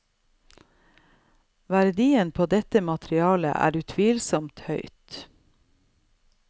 Verdien på dette materialet er utvilsomt høyt.